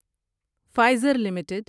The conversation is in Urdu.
Pfizer limited